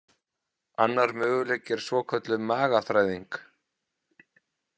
Annar möguleiki er svokölluð magaþræðing.